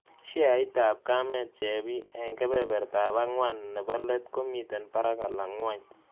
Sheaitap kamet chebii eng' kebebertap ang'wan ne po let komiten parak alan ng'wony